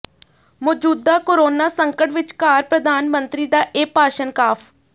ਮੌਜੂਦਾ ਕੋਰੋਨਾ ਸੰਕਟ ਵਿਚਕਾਰ ਪ੍ਰਧਾਨ ਮੰਤਰੀ ਦਾ ਇਹ ਭਾਸ਼ਣ ਕਾਫ